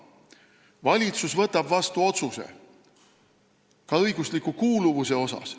Valitsus võtab vastu otsuse ka õigusliku kuuluvuse kohta.